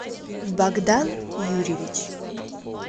богдан юрьевич